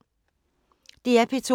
DR P2